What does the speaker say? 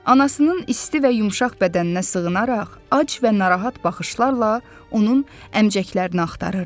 Anasının isti və yumşaq bədəninə sığınaraq ac və narahat baxışlarla onun əmcəklərini axtarırdı.